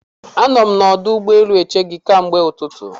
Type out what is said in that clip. Anọ m na ọdụ ụgbọ elu eche gị ke mgbe ụtụtụ